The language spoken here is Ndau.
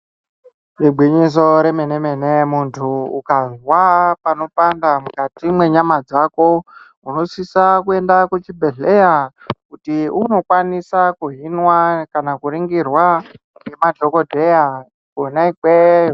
Igwinyiso remene-mene muntu ukazwa panopanda mukati mwenyama dzako unosise kuenda kuchibhedhlera kuti unokwanise kuhinwa kana kuringirwa ngemadhokodheya kwona ikweyo.